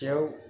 Cɛw